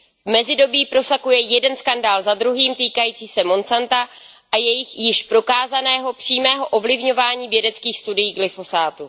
V mezidobí prosakuje jeden skandál za druhým týkající se Monsanta a jejich již prokázaného přímého ovlivňování vědeckých studií glyfosátu.